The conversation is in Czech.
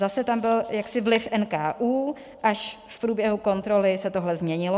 Zase tam byl jaksi vliv NKÚ, až v průběhu kontroly se tohle změnilo.